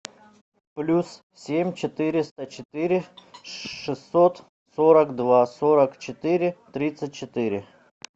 плюс семь четыреста четыре шестьсот сорок два сорок четыре тридцать четыре